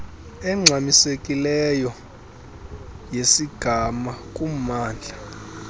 engxamisekileyo yesigama kumamndla